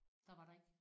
Der var der ikke?